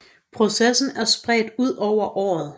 Processen er spredt ud over året